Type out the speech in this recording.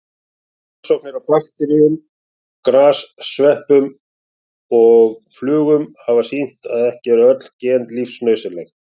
Rannsóknir á bakteríum, gersveppum og flugum hafa sýnt að ekki eru öll gen lífsnauðsynleg.